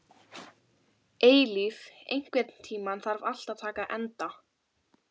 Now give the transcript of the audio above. Eilíf, einhvern tímann þarf allt að taka enda.